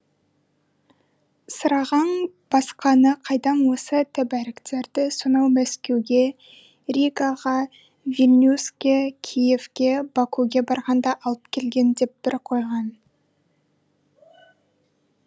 сырағаң басқаны қайдам осы тәбәріктерді сонау мәскеуге ригаға вильнюске киевке бакуге барғанда алып келген деп бір қойған